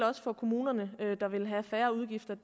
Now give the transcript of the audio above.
også for kommunerne der vil have færre udgifter